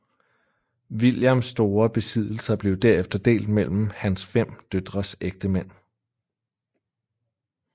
Williams store besiddelser blev derefter delt mellem hans fem døtres ægtemænd